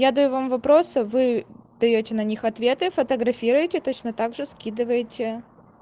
я даю вам вопросы вы даёте на них ответы фотографируйте точно так же скидываете